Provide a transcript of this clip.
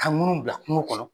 Ka ŋunu bila kungo kɔnɔ.